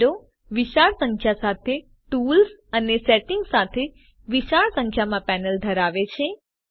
આ વિંડો વિશાળ સંખ્યા સાથે ટુલ્સ અને સેટિંગ્સ સાથે વિશાળ સંખ્યામાં પેનલ ધરાવે છે